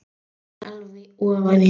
Þreifar alveg ofan í hann.